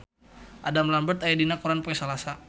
Adam Lambert aya dina koran poe Salasa